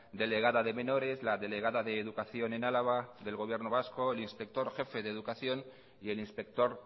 delegada de menores la delegada de educación en álava del gobierno vasco el inspector jefe de educación y el inspector